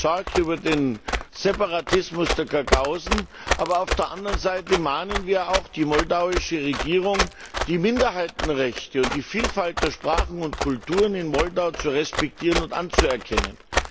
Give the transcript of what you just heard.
Wir sind besorgt über den Separatismus der Gagausen, aber auf der anderen Seite mahnen wir auch die moldauische Regierung, die Minderheitenrechte und die Vielfalt der Sprachen und Kulturen in Moldau zu respektieren und anzuerkennen.